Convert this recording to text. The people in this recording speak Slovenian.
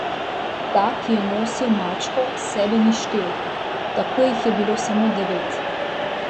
Ta, ki je nosil mačko, sebe ni štel, tako jih je bilo samo devet.